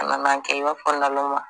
A nana kɛ e b'a fɔ naloman